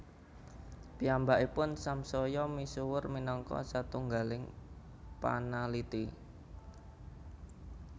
Piyambakipun samsaya misuwur minangka satunggaling panaliti